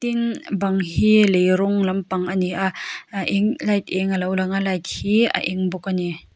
tin bang hi lei rawng lampang a ni a eh eng light eng a lo lang a light hi eng bawk a ni.